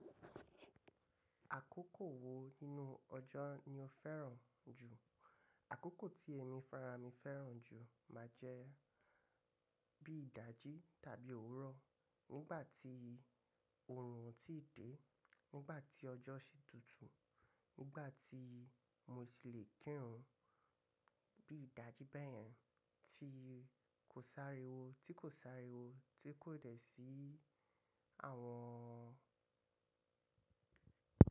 Àkókò wo nínú ọjọ́ ni o fẹ́ràn jù? Àkókò tí èmi farami fẹ́ràn jù máa jẹ́ bí ìdájí tàbí òwúrọ̀ nígbà tí oòrùn ti dé, nígbà tí ọjọ́ ṣe tútù, nígbà tí mo ti le kírun. Bí ìdájí báyẹn tí kò sáré wo tí kò sáré wo tí kò dẹ̀ sí àwọn.